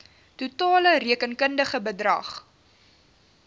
totale rekenkundige bedrag